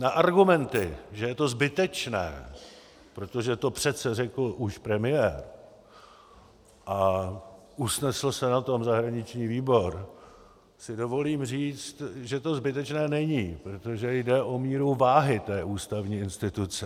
Na argumenty, že je to zbytečné, protože to přece řekl už premiér a usnesl se na tom zahraniční výbor, si dovolím říct, že to zbytečné není, protože jde o míru váhy té ústavní instituce.